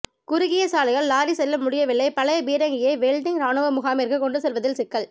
குறுகிய சாலையால் லாரி செல்ல முடியவில்லை பழைய பீரங்கியை வெலிங்டன் ராணுவ முகாமிற்கு கொண்டு செல்வதில் சிக்கல்